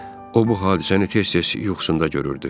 O bu hadisəni tez-tez yuxusunda görürdü.